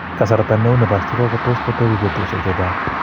Kasarta ne uu ne po stroke ko tos' kotepi betusiek chechang'.